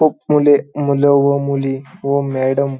खूप मुले मुलं व मुली व मॅडम --